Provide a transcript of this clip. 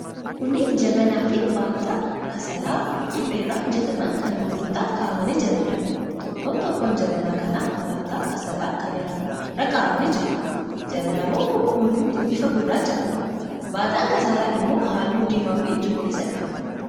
Kunneen jabanaafi baataa kasalaa suphee irraa hojjetaman kan gurgurtaaf kaa'amanii jiraniidha. Tokkoon tokkoon jabanaa kanaa baataa kasalaa kanneen irra kaa'amanii jiru. Jabanaawwan kun hundumtuu bifa gurraacha qabu. Baataan kasalaa immoo halluu diimaafi cuquliisa qaba.